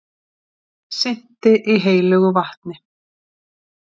Synti í heilögu vatni